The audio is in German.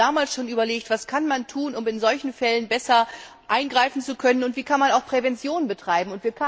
Wir haben damals schon überlegt Was kann man tun, um in solchen Fällen besser eingreifen zu können, und wie kann man auch Prävention betreiben?